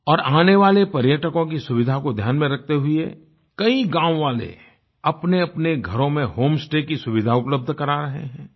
और आने वाले पर्यटकों की सुविधा को ध्यान में रखते हुए कई गाँव वाले अपनेअपने घरों में होम स्टे की सुविधा उपलब्ध करवा रहे हैं